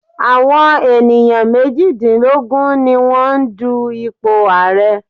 Àwọn ènìyàn méjìdínlógún ni wọ́n ń du ipò ààrẹ.